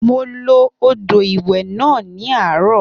Mo lo odò ìwẹ̀ náà ní àárọ̀